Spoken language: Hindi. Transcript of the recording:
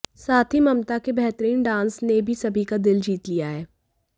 साथ ही ममता के बेहतरीन डांस ने भी सभी का दिल जीत लिया है